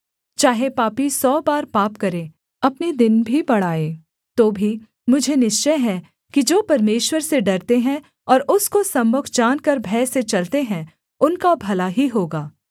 चाहे पापी सौ बार पाप करे अपने दिन भी बढ़ाए तो भी मुझे निश्चय है कि जो परमेश्वर से डरते हैं और उसको सम्मुख जानकर भय से चलते हैं उनका भला ही होगा